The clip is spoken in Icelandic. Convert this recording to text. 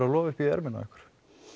að lofa upp í ermina á ykkur